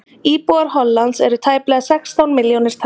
íbúar hollands eru tæplega sextán milljónir talsins